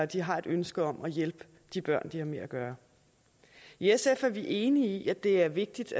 de har et ønske om at hjælpe de børn de har med at gøre i sf er vi enige i at det er vigtigt